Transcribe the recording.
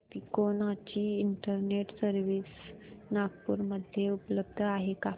तिकोना ची internet service Nagpur मध्ये उपलब्ध आहे का